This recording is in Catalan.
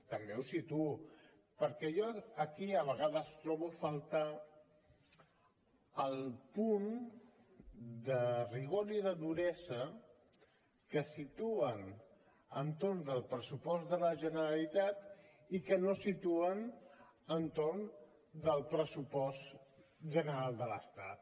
també ho situo perquè jo aquí de vegades trobo a faltar el punt de rigor i de duresa que situen entorn del pressupost de la generalitat i que no situen entorn del pressupost general de l’estat